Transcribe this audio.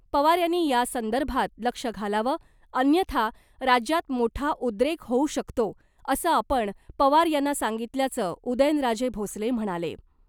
पवार यांनी यासंदर्भात लक्ष घालावं , अन्यथा राज्यात मोठा उद्रेक होऊ शकतो , असं आपण पवार यांना सांगितल्याचं उदयनराजे भोसले म्हणाले .